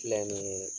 Filɛ nin ye